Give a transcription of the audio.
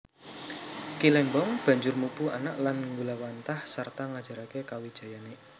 Ki Lembong banjur mupu anak lan nggulawentah sarta ngajaraké kawijayané